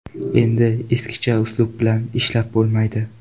Endi eskicha uslub bilan ishlab bo‘lmaydi.